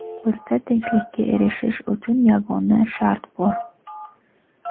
Bizda tinchlikka erishish uchun yagona shart bor.